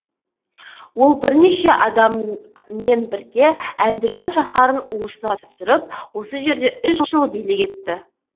ол бірнеше адамымен бірге әндіжан шаһарын уысына түсіріп осы жерде үш жыл билік етті